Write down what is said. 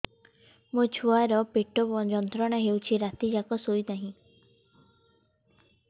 ମୋ ଛୁଆର ପେଟ ଯନ୍ତ୍ରଣା ହେଉଛି ରାତି ଯାକ ଶୋଇନାହିଁ